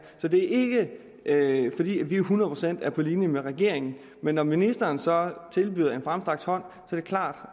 så det er ikke fordi vi hundrede procent er på linje med regeringen men når ministeren så tilbyder en fremstrakt hånd er det klart